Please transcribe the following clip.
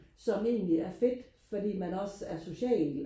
som egentlig er fedt fordi man også er social